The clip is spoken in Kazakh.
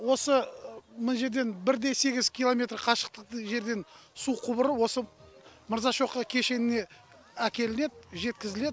осы мына жерден бір де сегіз километр қашықтықтық жерден су құбыры осы мырзашоқы кешеніне әкелінеді жеткізіледі